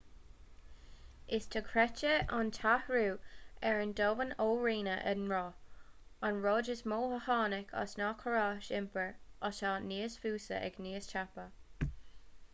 is dochreidte an t-athrú ar an domhan ó rinneadh an roth an rud is mó a tháinig as ná córais iompair atá níos fusa agus níos tapa